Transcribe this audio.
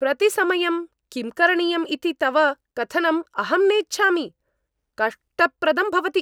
प्रतिसमयं किं करणीयम् इति तव कथनम् अहं नेच्छामि। कष्टप्रदं भवति।